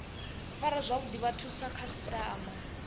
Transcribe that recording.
fara zwavhuḓi vhathu sa khasiṱama